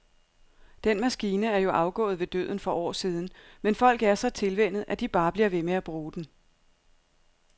Den maskine er jo afgået ved døden for år siden, men folk er så tilvænnet, at de bare bliver ved med at bruge den.